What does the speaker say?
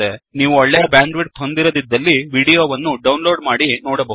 ನೀವು ಒಳ್ಳೆಯ ಬ್ಯಾಂಡ್ವಿಡ್ತ್ ಹೊಂದಿರದಿದ್ದಲ್ಲಿ ವಿಡಿಯೋ ವನ್ನು ಡೌನ್ಲೋಡ್ ಮಾಡಿ ನೋಡಬಹುದು